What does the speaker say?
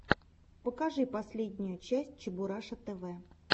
покажи последнюю часть чебураша тв